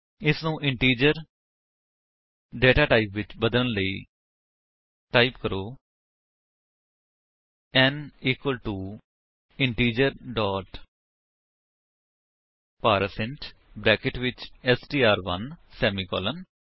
ਇਸਨੂੰ integer datatype ਵਿੱਚ ਬਦਲਨ ਲਈ ਟਾਈਪ ਕਰੋ n equal to integer dot parseint brackets ਵਿੱਚ ਐਸਟੀਆਰ1 ਸੇਮੀਕਾਲਨ